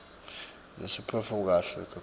nesiphetfo kuhle kakhulu